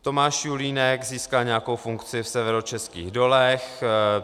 Tomáš Julínek získal nějakou funkci v Severočeských dolech.